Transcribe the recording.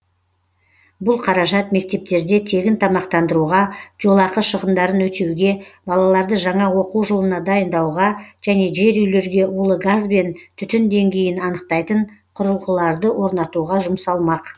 бұл қаражат мектептерде тегін тамақтандыруға жолақы шығындарын өтеуге балаларды жаңа оқу жылына дайындауға және жер үйлерге улы газ бен түтін деңгейін анықтайтын құрылғыларды орнатуға жұмсалмақ